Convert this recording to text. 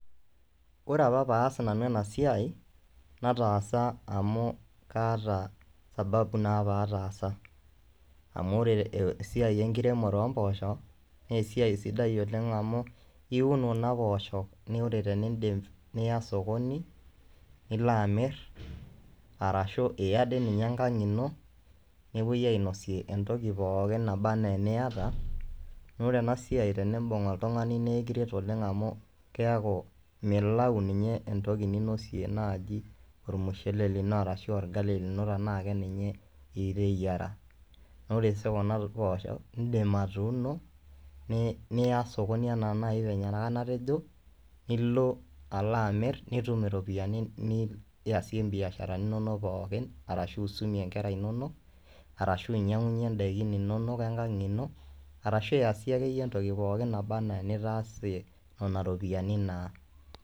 Ore apa paas nanu ena siai nataasa amu kaata sababu naa pee ataasa, amu ore esia enkiremore oo mpoosho naa esia sidai oleng amu iun kuna poosho naa ore pee indip niya sokoni nilo amirr arashu iya dii ninye enkang ino nepuoi ainosie entoki pookin naba enaa eniyata naa ore ena siai tendimbung oltungani naa ekiret oleng amu keeku milau entoki ninosie naaji olmushele lino arashu olgali lino tenaa keninye iteyiara ,naa ore sii kuna poosho indim atuuno niya sokoni anaa naaji venye naa enatejo nilo alo amirr nitum iropiyiani niyasie imbiasharani inononk poookin aashu isumie nkera inonok aashu inyangunyie ndaiki inonok enkang ino aashu iyasie akeyie entoki pookin naba enaa enitaasie nena ropiyiani naa.